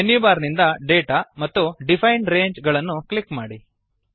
menu bar ನಿಂದ Data ಮತ್ತು define range ಗಳನ್ನು ಕ್ಲಿಕ್ ಮಾಡಿ